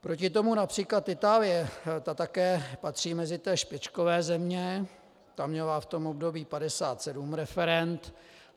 Proti tomu například Itálie, ta také patří mezi ty špičkové země, ta měla v tom období 57 referend.